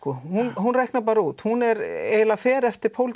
hún reiknar bara út hún eiginlega fer eftir